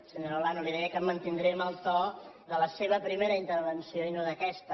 senyora olano li deia que em mantindré en el to de la seva primera intervenció i no d’aquesta